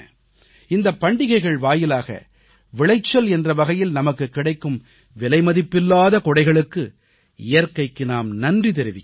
இந்தப் பண்டிகைகள் வாயிலாக விளைச்சல் என்ற வகையில் நமக்குக் கிடைக்கும் விலைமதிப்பில்லாத கொடைகளுக்கு இயற்கைக்கு நாம் நன்றி தெரிவிக்கிறோம்